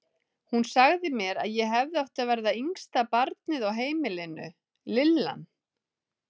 Hún sagði mér að ég hefði átt að verða yngsta barnið á heimilinu, lillan.